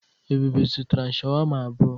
Ebube zụtara sháwámá abụọ.